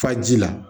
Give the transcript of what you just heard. Faji la